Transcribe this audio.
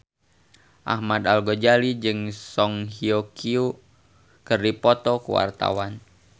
Ahmad Al-Ghazali jeung Song Hye Kyo keur dipoto ku wartawan